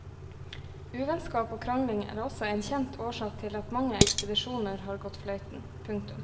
Uvennskap og krangling er også en kjent årsak til at mange ekspedisjoner har gått fløyten. punktum